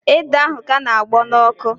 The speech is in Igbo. Ede ahụ ka na-agbọ n'ọkụ